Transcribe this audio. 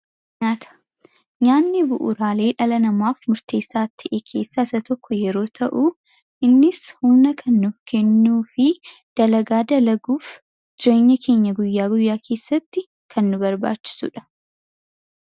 nyaata nyaanni bu'uraalee dhala namaaf murteessaa ta'e keessaa isa tokko yeroo ta'u innis humna kan nuuf fi dalagaa dalaguuf jireenya keenya guyyaa guyyaa keessatti kan nu barbaachisuudha.